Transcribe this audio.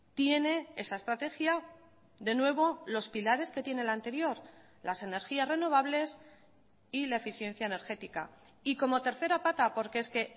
tiene esa estrategia de nuevo los pilares que tiene la anterior las energías renovables y la eficiencia energética y como tercera pata porque es que